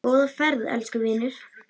Góða ferð, elsku vinur.